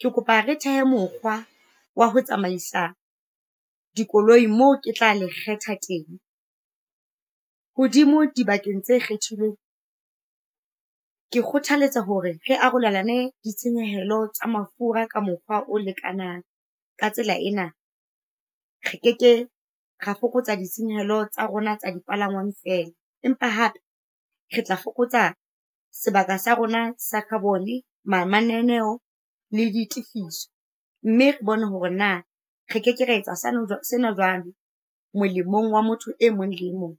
Ke kopa re thehe mokgwa wa ho tsamaisa dikoloi mo ke tla le kgetha teng. Hodimo dibakeng tse kgethilweng, ke kgothaletsa hore re arolelane ditshenyehelo tsa mafura ka mokgwa o lekanang. Ka tsela ena, re keke ra fokotsa ditshenyehelo tsa rona tsa dipalangwang fela, empa hape re tla fokotsa sebaka sa rona sa carbon-e, mananeo le ditifiso, mme re bone hore na re keke ra etsa sena jwalo molemong wa motho e mong le e mong.